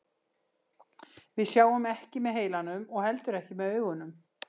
Við sjáum ekki með heilanum og heldur ekki með augunum.